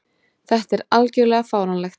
Þetta er algjörlega fáránlegt.